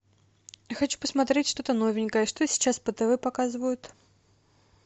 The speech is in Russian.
хочу посмотреть что то новенькое что сейчас по тв показывают